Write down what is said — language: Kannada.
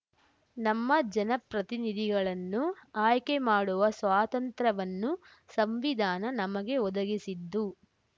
ನಮ್ಮ ಜನಪ್ರತಿನಿಧಿಗಳನ್ನು ಆಯ್ಕೆ ಮಾಡುವ ಸ್ವಾತಂತ್ರ್ಯವನ್ನು ಸಂವಿಧಾನ ನಮಗೆ ಒದಗಿಸಿದ್ದು